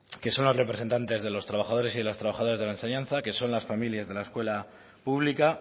que son los representantes de los trabajadores y de las trabajadoras de la enseñanza que son las familias de la escuela pública